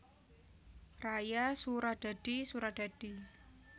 Raya Suradadi Suradadi